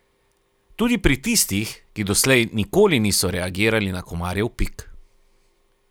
Tudi pri tistih, ki doslej nikoli niso reagirali na komarjev pik.